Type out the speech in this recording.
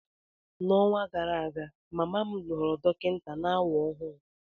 N'ọnwa gara aga, mama m ghọrọ dọkịta na-awa ahụ.